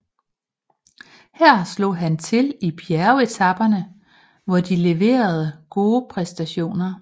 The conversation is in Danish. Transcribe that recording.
Her slog han til i bjergetaperne hvor de leverede gode præstationer